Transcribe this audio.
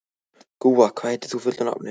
Gúa, hvað heitir þú fullu nafni?